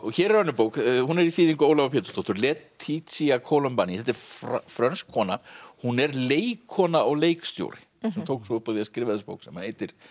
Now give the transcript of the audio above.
hér er önnur bók hún er í þýðingu Ólafar Pétursdóttur laetitia Colombani þetta er frönsk kona hún er leikkona og leikstjóri sem tók svo upp á því að skrifa þessa bók sem heitir